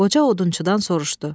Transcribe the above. Qoca odunçudan soruşdu: